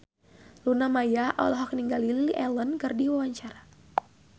Luna Maya olohok ningali Lily Allen keur diwawancara